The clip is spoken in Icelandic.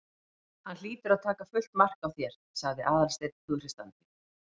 Hann hlýtur að taka fullt mark á þér- sagði Aðalsteinn hughreystandi.